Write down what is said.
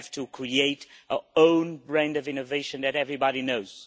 We have to create our own brand of innovation that everybody knows.